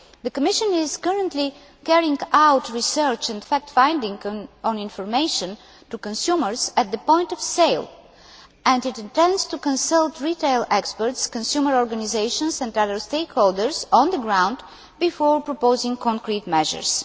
The Commission is currently carrying out research and fact finding on information to consumers at the point of sale, and it intends to consult retail experts, consumer organisations and other stakeholders on the ground before proposing concrete measures.